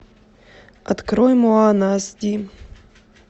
открой моана ас ди